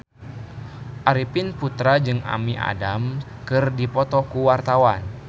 Arifin Putra jeung Amy Adams keur dipoto ku wartawan